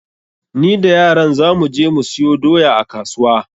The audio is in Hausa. Ni da yaran za mu je mu siyo doya a kasuwa.